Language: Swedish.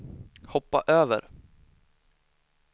hoppa över